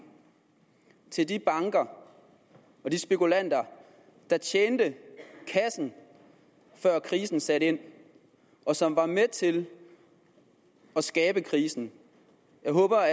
til de banker og de spekulanter der tjente kassen før krisen satte ind og som var med til at skabe krisen jeg håber